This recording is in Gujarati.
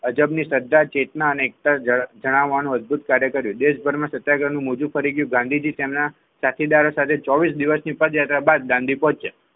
અજબની શ્રદ્ધા ચેતના અનેકતા જણાવો નો અદભુત કાર્ય કર્યો દેશભરમાં સત્યાગ્રહનું મોજુ કરી ગાંધીજી તેમના સાથીદારો સાથે ચોવીસ દિવસ પદયાત્રા બાદ દાંડી પહોંચ્યા.